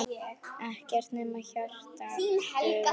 Ekkert nema hjarta dugar.